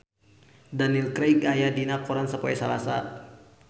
Daniel Craig aya dina koran poe Salasa